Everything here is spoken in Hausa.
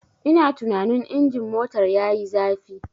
Ina tunanin injin motar yayi zafi.